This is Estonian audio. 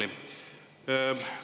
Annely!